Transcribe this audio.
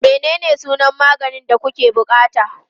Menene sunan maganin da kuke buƙata?